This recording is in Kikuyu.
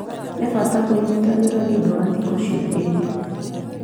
Nĩ bata kũnyitanĩra nĩ ũndũ wa thikũ ciũkĩte.